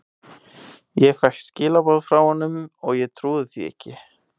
Ég fékk skilaboð frá honum og ég trúði því ekki.